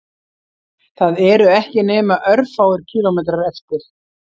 Það eru ekki nema örfáir kílómetrar eftir